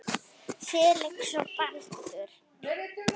Felix og Baldur.